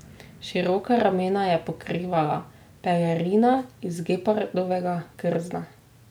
Široka ramena je pokrivala pelerina iz gepardovega krzna.